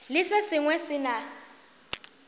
le se sengwe se na